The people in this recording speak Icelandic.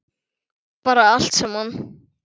Bara allt saman.